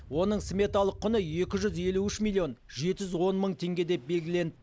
оның сметалық құны екі жүз елу үш милллион жеті жүз он мың теңге деп белгіленді